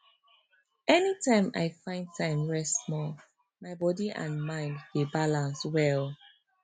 anytime i find time rest small my body and mind dey balance well